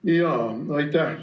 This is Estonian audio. Aitäh!